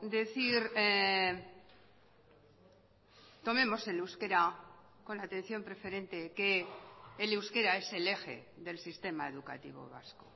decir tomemos el euskera con la atención preferente que el euskera es el eje del sistema educativo vasco